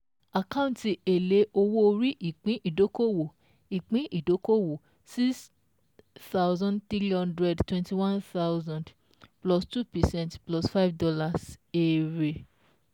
Àkáǹtì èlé owó orí ìpín ìdókòwò ìpín ìdókòwò six thousand three hundred twenty one thousand + two percent +$ five (Èrè)